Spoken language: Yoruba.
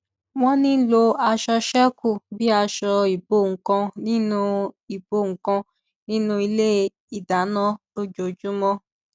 wọn ń lo aṣọ ṣékù bí àṣọ ìbo nnkan nínú ìbo nnkan nínú ilé ìdáná lójoojúmọ